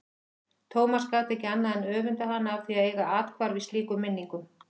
Thomas gat ekki annað en öfundað hana af því að eiga athvarf í slíkum minningum.